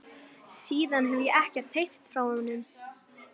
Síðan hefi ég ekkert heyrt frá honum.